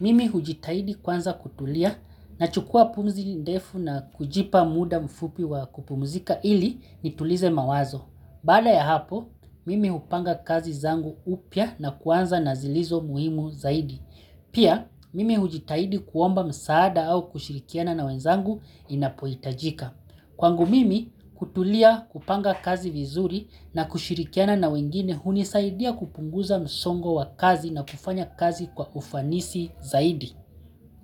mimi hujitaidi kwanza kutulia nachukua pumzi ndefu na kujipa muda mfupi wa kupumzika ili nitulize mawazo. Baada ya hapo, mimi hupanga kazi zangu upya na kuanza na zilizo muhimu zaidi. Pia, mimi hujitaidi kuomba msaada au kushirikiana na wenzangu inapohitajika. Kwangu mimi kutulia kupanga kazi vizuri na kushirikiana na wengine hunisaidia kupunguza msongo wa kazi na kufanya kazi kwa ufanisi zaidi.